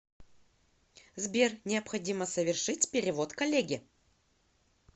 сбер необходимо совершить перевод коллеге